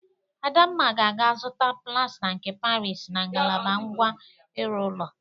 Adamma ga-aga zụta plasta nke Parịs na ngalaba ngwa ịrụ ụlọ.